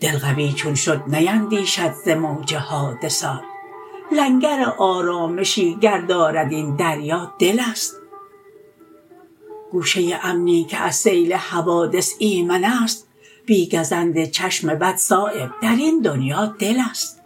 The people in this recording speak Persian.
دل قوی چون شد نیندیشد ز موج حادثات لنگر آرامشی گر دارد این دریا دل است گوشه امنی که از سیل حوادث ایمن است بی گزند چشم بد صایب درین دنیا دل است